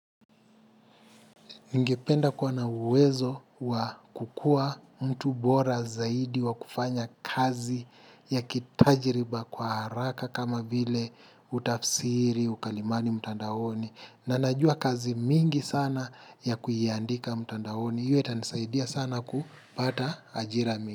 Ningependa kua na uwezo wa kukua mtu bora zaidi, wa kufanya kazi ya kitajiriba kwa haraka kama vile utafsiri, ukalimani, mtandaoni. Na najua kazi mingi sana ya kuiandika mtandaoni. Hiyo itanisaidia sana kupata ajirami.